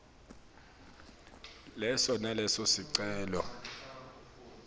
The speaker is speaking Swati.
leso naleso sicelo